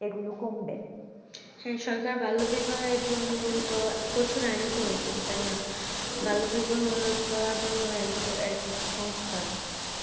সেই সরকার বাল্য বিবাহের জন্য তো প্রচুর আইন করেছেন তাই না বাল্য বিবাহ রোদ করার জন্য একটি সনস্থা আছে